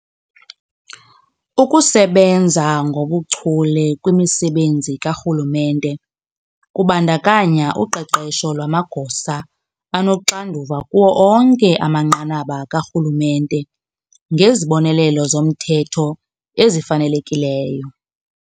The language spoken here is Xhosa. Ukusebenza ngobuchule kwimisebenzi karhulumente kubandakanya uqeqesho lwamagosa anoxanduva kuwo onke amanqanaba karhulumente ngezibonelelo zomthetho ezifanelekileyo.